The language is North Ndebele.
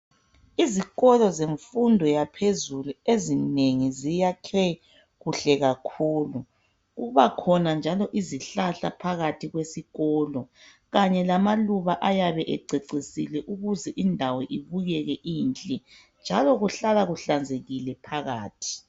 Izikolo zemfundo yaphezulu ezinengi ziyakwe kuhle kakhulu kubakhona njalo izihlahla phakathi kwesikolo kanye lamaluba ayabe ececisile ukuze indawo ibukeke inhle njalo kuhlala kuhlanzekile phakathi